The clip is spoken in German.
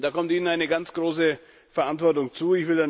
Da kommt Ihnen eine ganz große Verantwortung zu.